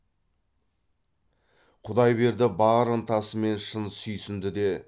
құдайберді бар ынтасымен шын сүйсінді де